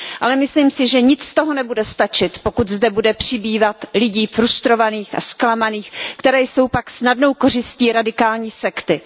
Ale myslím si, že nic z toho nebude stačit, pokud zde bude přibývat lidí frustrovaných a zklamaných, kteří jsou pak snadnou kořistí radikální sekty.